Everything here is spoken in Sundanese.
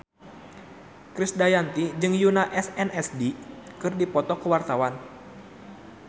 Krisdayanti jeung Yoona SNSD keur dipoto ku wartawan